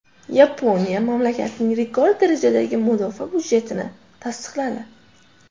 Yaponiya mamlakatning rekord darajadagi mudofaa budjetini tasdiqladi.